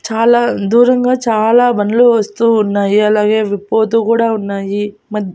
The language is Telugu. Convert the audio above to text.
చాలా దూరంగా చాలా బండ్లు వస్తూ ఉన్నాయి అలాగే అవి పోతూ కూడా ఉన్నాయి మద్--